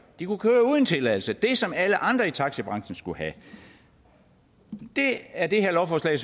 de kunne køre uden tilladelse det som alle andre i taxabranchen skulle have det er det her lovforslag